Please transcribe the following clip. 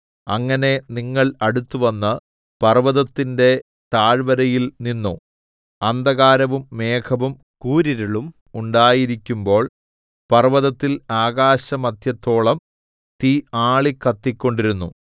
അങ്ങനെ നിങ്ങൾ അടുത്തുവന്ന് പർവ്വതത്തിന്റെ താഴ്വരയിൽ നിന്നു അന്ധകാരവും മേഘവും കൂരിരുളും ഉണ്ടായിരിക്കുമ്പോൾ പർവ്വതത്തിൽ ആകാശമദ്ധ്യത്തോളം തീ ആളിക്കത്തിക്കൊണ്ടിരുന്നു